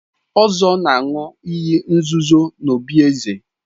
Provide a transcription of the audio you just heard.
Ozor na-aṅụ iyi nzuzo n'obí eze.